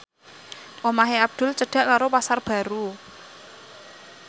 omahe Abdul cedhak karo Pasar Baru